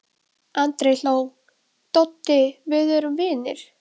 Andri hló: Doddi við erum vinir.